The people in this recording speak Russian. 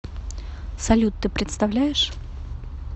салют ты представляешь